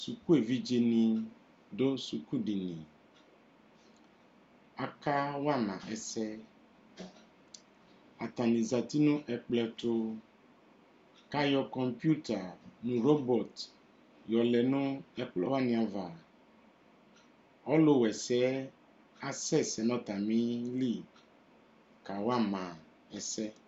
Sukuevidzeni dʊ sukudini Aka wama ɛsɛ Atani zǝti nʊ ɛkplɔ tʊ Kayɔ kõpuita nʊ robɔt yɔlɛ nʊ ɛkplɔwani ava Ɔlʊwɛsɛ asɛsɛ nʊ atamili kawama ɛsɛ